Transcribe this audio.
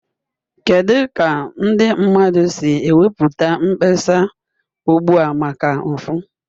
Kedu ka ndị mmadụ si ekwupụta mkpesa ugbu a maka mfu?